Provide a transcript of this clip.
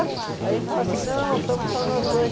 Aí a gente fala assim, não, estamos só nós dois.